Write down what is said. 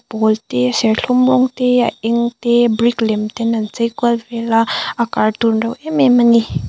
pawl te serthlum rawng te a eng te brick lem ten an chei kual vela a cartoon reuh em em ani.